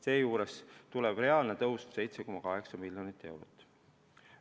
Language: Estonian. Seejuures tuleb reaalne tõus 7,8 miljonit eurot.